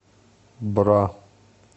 бра